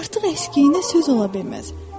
Artıq əskiyinə söz ola bilməz.